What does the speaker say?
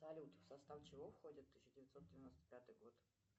салют в состав чего входит тысяча девятьсот девяносто пятый год